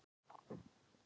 Án hamagangs og tilþrifa.